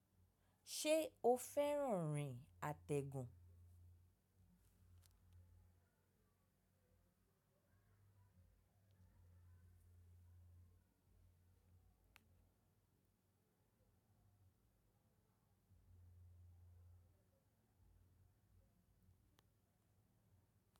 Ṣé o fẹ́ràn rìn àtẹ̀gùn?